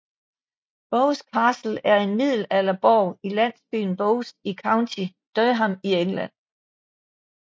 Bowes Castle er en middelalderborg i landsbyen Bowes i County Durham i England